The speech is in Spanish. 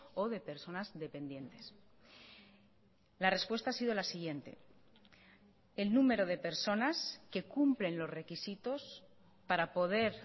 o de personas dependientes la respuesta ha sido la siguiente el número de personas que cumplen los requisitos para poder